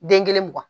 Den kelen mugan